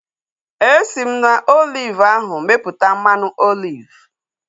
Esi m na oliv ahu mepụta mmanụ oliv